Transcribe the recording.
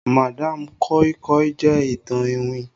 madam koi koi jẹ ìtàn iwin.